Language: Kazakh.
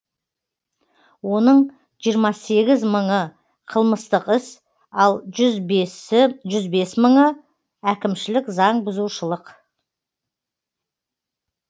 оның жиырма сегіз мыңыы қылмыстық іс ал жүз бес мыңы әкімшілік заң бұзушылық